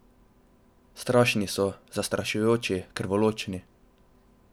Strašni so, zastrašujoči, krvoločni.